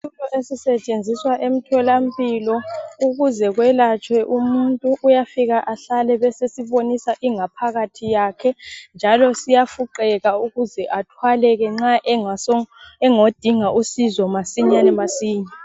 Isitulo esisetshenziswa emtholampilo ukuze kwelatshwe umuntu uyafika ahlale besesibonisa ingaphakathi yakhe njalo siyafuqeka ukuze athwaleke nxa engaso engodinga usizo masinyane masinya.